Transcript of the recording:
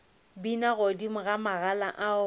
bina godimo ga magala ao